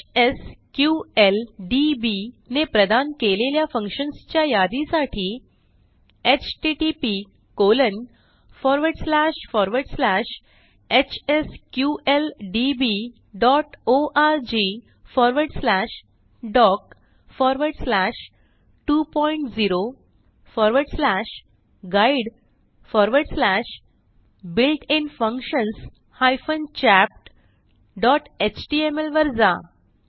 HSQLDB ने प्रदान केलेल्या functionsच्या यादीसाठी http फॉरवर्ड slashhsqldborgdoc20guidebuiltinfunctions chaptएचटीएमएल वर जा